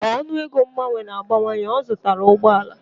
Ka ọnụego mgbanwe na-abawanye, ọ zụtara ụgbọ ala.